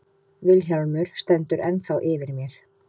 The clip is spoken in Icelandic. Vilhjálmur stendur ennþá yfir mér.